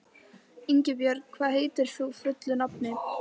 Ingibjörn, hvað heitir þú fullu nafni?